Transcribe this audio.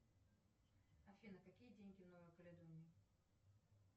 афина какие деньги в новой каледонии